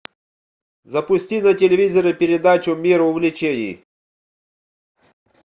запусти на телевизоре передачу мир увлечений